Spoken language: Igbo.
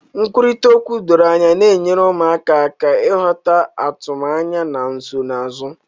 Nkwurịta okwu doro anya na-enyere ụmụaka aka ịghọta atụmanya na nsonaazụ.